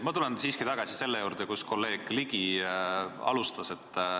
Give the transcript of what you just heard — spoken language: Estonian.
Ma tulen siiski tagasi selle juurde, millest kolleeg Ligi alustas.